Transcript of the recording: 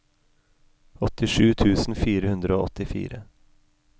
åttisju tusen fire hundre og åttifire